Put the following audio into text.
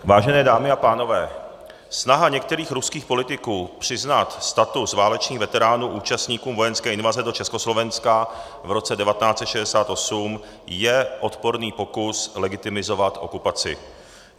Vážené dámy a pánové, snaha některých ruských politiků přiznat status válečných veteránů účastníkům vojenské invaze do Československa v roce 1968 je odporný pokus legitimizovat okupaci.